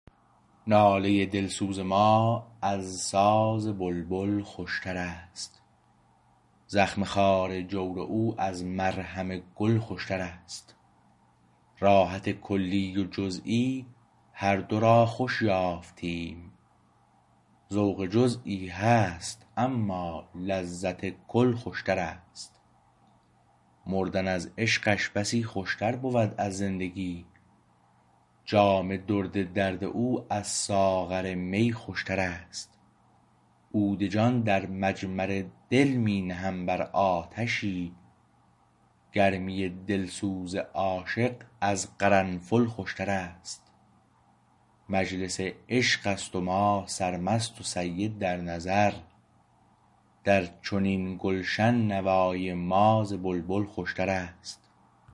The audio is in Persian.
ناله دلسوز ما از ساز بلبل خوشتر است زخم خار جور او از مرهم گل خوشتر است راحت کلی و جزوی هر دو را خوش یافتیم ذوق جزوی هست اما لذت کل خوشتر است مردن از عشقش بسی خوشتر بود از زندگی جام درد درد او از ساغر می خوشتر است عود جان در مجمر دل می نهم بر آتشی گرمی دلسوز عاشق از قرنفل خوشتر است مجلس عشقست و ما سرمست و سید در نظر درچنین گلشن نوای ما ز بلبل خوشتر است